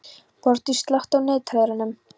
Borgdís, slökktu á niðurteljaranum.